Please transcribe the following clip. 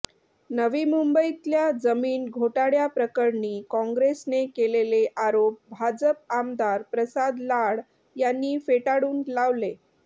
नवी मुंबईतल्या जमीन घोटाळ्याप्रकरणी काँग्रेसने केलेले आरोप भाजप आमदार प्रसाद लाड यांनी फेटाळून लावले